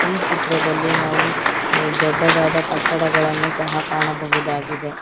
ಈ ಚಿತ್ರದಲ್ಲಿ ನಾವು ದೊಡ್ಡದಾದ ಕಟ್ಟಡಗಳನ್ನು ಸಹ ಕಾಣಬಹುದಾಗಿದೆ.